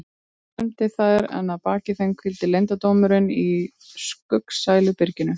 Kvöldsólin vermdi þær en að baki þeim hvíldi leyndardómurinn í skuggsælu byrginu.